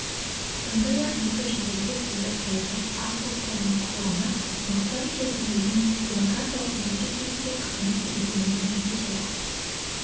сондай-ақ екі және көптілді саясат аз ұлттардың құқығына нұқсан келтірмейтін демократиялық мемлекет ретінде қызмет етуіне көмектеседі